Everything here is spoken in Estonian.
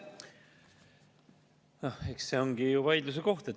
Eks see ongi ju vaidluse koht.